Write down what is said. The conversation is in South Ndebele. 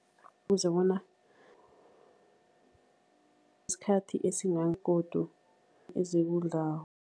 Bona isikhathi godu ezekudlako.